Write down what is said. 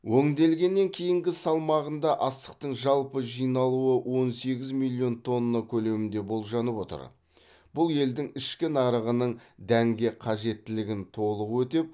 өңделгеннен кейінгі салмағында астықтың жалпы жиналуы он сегіз миллион тонна көлемінде болжанып отыр бұл елдің ішкі нарығының дәнге қажеттілігін толық өтеп